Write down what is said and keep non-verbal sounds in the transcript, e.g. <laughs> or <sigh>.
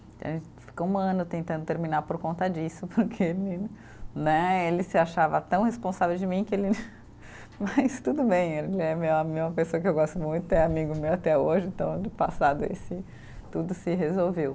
<unintelligible> ficou um ano tentando terminar por conta disso, porque <laughs> né, ele se achava tão responsável de mim que ele. <laughs> Mas tudo bem, ele é meu a, uma pessoa que eu gosto muito, é amigo meu até hoje, então no passado esse, tudo se resolveu.